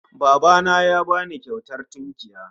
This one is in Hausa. Baba na ya ba ni kyautar tunkiya